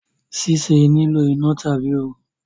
ṣíṣe nilo iná tàbí ooru